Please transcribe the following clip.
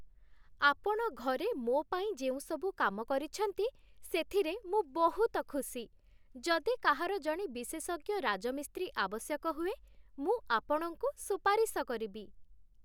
ଆପଣ ଘରେ ମୋ ପାଇଁ ଯେଉଁ ସବୁ କାମ କରିଛନ୍ତି, ସେଥିରେ ମୁଁ ବହୁତ ଖୁସି। ଯଦି କାହାର ଜଣେ ବିଶେଷଜ୍ଞ ରାଜମିସ୍ତ୍ରୀ ଆବଶ୍ୟକ ହୁଏ, ମୁଁ ଆପଣଙ୍କୁ ସୁପାରିଶ କରିବି।